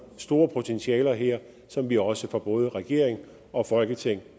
store potentialer her som vi også fra både regering og folketing